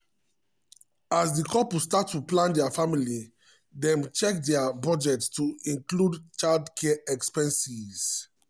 as di couple start to plan dia family dem check dia budget to include childcare expenses.